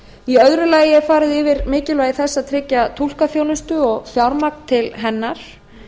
í öðru lagi er farið yfir mikilvægi þess að tryggja túlkaþjónustu og fjármagn til hennar